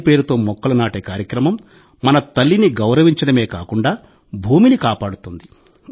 తల్లి పేరుతో మొక్కలు నాటే కార్యక్రమం మన తల్లిని గౌరవించడమే కాకుండా భూమిని కాపాడుతుంది